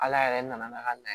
Ala yɛrɛ nana n'a ka na ye